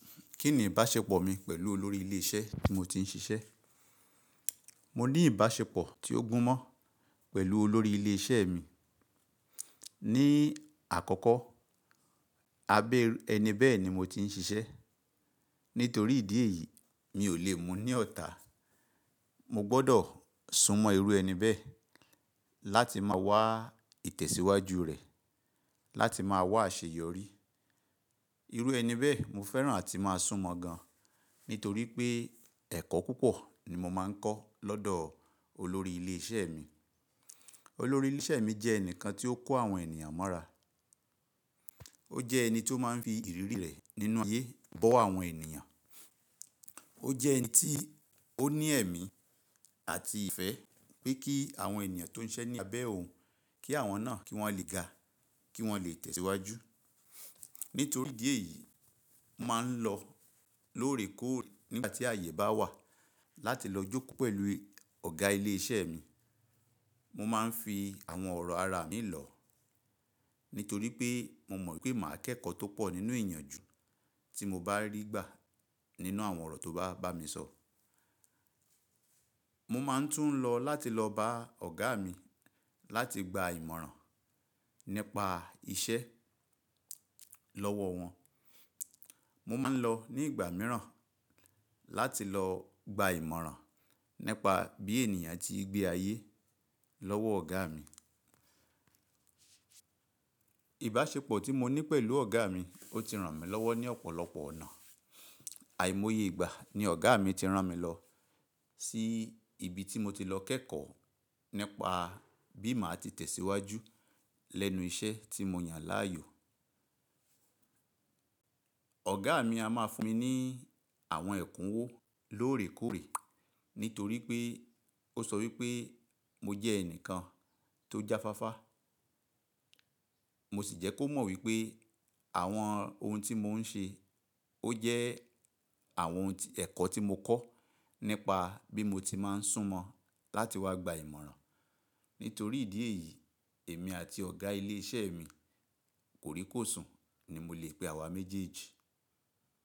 Kí ni ìbáṣepọ̀ mi pẹ̀lú olórí ilé iṣẹ́ tí mo ti ń ṣiṣẹ́? Mo ní ìbáṣepọ̀ tí ó gún mọ́ pẹ̀lú olórí ilé iṣẹ́ mi. Ni àkọ́kọ́, abẹ́ ẹni bẹ́ẹ̀ ni mo ti ń ṣiṣẹ́. Nítorí ìdí èyí, mi ò lè mú ní ọ̀tà. Mo gbọ́dọ̀ súnmọ́ irú ẹni bẹ́ẹ̀ láti máa wá ìtẹ̀síwájú rẹ̀, láti máa wá àṣeyọrí. Irú ẹni bẹ́ẹ̀ mo fẹ́ràn àti máa súnmọ́ gan, nítorí pé ẹ̀kọ́ púpọ̀ ni mo máa ń kọ́ lọ́dọ̀ olórí ilé iṣẹ́ mi. Olórí ilé iṣẹ́ mi jẹ́ ẹni kan tí ó kọ́ àwọn ènìyàn mọ́ra. Ó jẹ́ ẹni tí ó máa ń fi ìrírí rẹ̀ nínú ayé bọ́ àwọn ènìyàn. Ó jẹ́ ẹni tí ó ní ẹ̀mí àti ìfẹ́ pé kí àwọn ènìyàn tó ń ṣiṣẹ́ ní abẹ́ òun, kí àwọn náà kí wọ́n le ga, kí wọ́n lè tẹ̀síwájú. Nítorí ìdí èyí, mo máa ń lọ lóòrèkóòrè nígbà tí àyè bá wà láti lọ jókòó pẹ̀lú ọ̀gá ilé iṣẹ́ mi. Mo máa ń fi àwọn ọ̀rọ̀ ara mi ń lọ, nítorí pé mo mọ̀ wípé màá kẹ́kọ̀ọ́ tó pọ̀ nínú ìyànjù tí mo bá rí gbà nínú àwọn ọ̀rọ̀ tó bá bá mi sọ̀. Mo máa ń tún lọ láti lọ bá ọ̀gá mi láti gba ìmọ̀ràn nípa iṣẹ́ lọ́wọ́ wọn. Mo máa ń lọ ní ìgbà mìíràn láti lọ gba ìmọ̀ràn nípa bí ènìyàn ti ń gbé ayé lọ́wọ́ ọ̀gá mi. Ìbáṣepọ̀ tí mo ní pẹ̀lú ọ̀gá mi ó ti ràn mí lọ́wọ́ ní ọ̀pọ̀lọpọ̀ ọ̀nà. Àìmọye ìgbà ni ọ̀gá mi ti rán mi lọ sí ibi tí mo ti lọ kẹ́kọ̀ọ́ nípa bí màá ti tẹ̀síwájú lẹ́nu iṣẹ́ tí mo yàn láàyò. Ọ̀gá mi a máa fún mi ní àwọn ẹ̀kúnwó lóòrèkóòrè, nítorí pé ó sọ wípé mo jẹ́ ẹnìkan tó jáfáfá. Mo sì jẹ́ kó mọ̀ wípé àwọn ohun tí mò ń ṣe ó jẹ́ àwọn ohun ẹ̀kọ́ tí mo kọ́ nípa bí mo ti máa ń súnmọ́ láti wá gba ìmọ̀ràn. Nítorí ìdí èyí, èmi àti ọ̀gá ilé iṣẹ́ mi kòríkòsùn ni mo lè pe àwa méjèèjì.